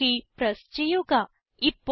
Enter key press ചെയ്യുക